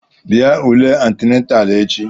Bịa ule antinatalụ echi!